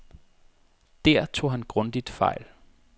Der tog han grundigt fejl.